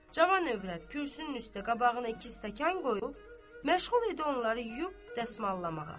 Cavan övrət kürsünün üstə qabağına iki stəkan qoyub məşğul idi onları yuyub dəsmallamağa.